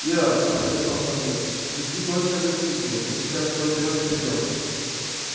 ира обратился он ко мне веди гостя в гостиную мы сейчас всё уберём и придём